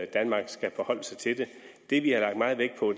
danmark skal forholde sig til det det vi har lagt meget vægt på